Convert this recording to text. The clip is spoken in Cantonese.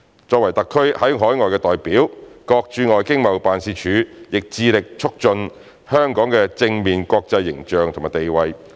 作為特區在海外的代表，各駐外經貿辦亦致力促進香港的正面國際形象和地位。